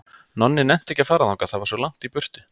Nonni nennti ekki að fara þangað, það var svo langt í burtu.